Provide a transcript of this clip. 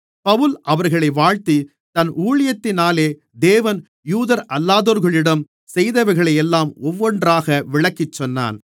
பவுல் அவர்களை வாழ்த்தி தன் ஊழியத்தினாலே தேவன் யூதரல்லாதோர்களிடம் செய்தவைகளையெல்லாம் ஒவ்வொன்றாக விளக்கிச்சொன்னான்